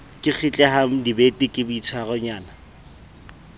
ke kgitlehang dibete ke boitshwaronyana